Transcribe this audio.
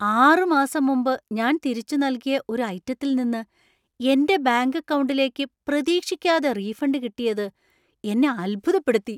ആറ് മാസം മുമ്പ് ഞാൻ തിരിച്ചു നൽകിയ ഒരു ഐറ്റത്തിൽ നിന്ന് എന്‍റെ ബാങ്ക് അക്കൗണ്ടിലേക്ക് പ്രതീക്ഷിക്കാതെ റീഫണ്ട് കിട്ടിയത് എന്നെ അത്ഭുതപ്പെടുത്തി.